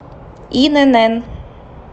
инн